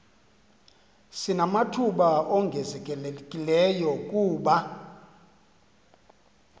sinamathuba ongezelelekileyo kuba